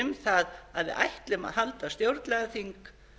það að við ætlum að halda stjórnlagaþing